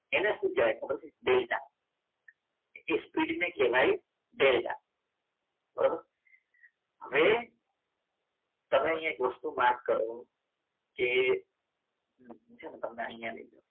એને શું કહેવાય ખબર છે ડેલ્ટા એ સ્પીડ કહેવાય ડેલ્ટા બરાબર હવે તમે અહીંયા વસ્તુ માર્ક કરો કે dહું છે તમને અહીંયા